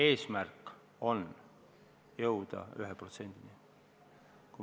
Eesmärk on jõuda 1%-ni.